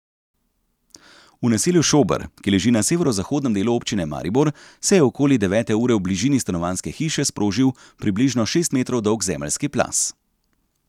V naselju Šober, ki leži na severozahodnem delu občine Maribor, se je okoli devete ure v bližini stanovanjske hiše sprožil približno šest metrov dolg zemeljski plaz.